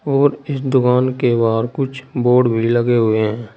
और इस दुकान के बाहर कुछ बोर्ड भी लगे हुए है।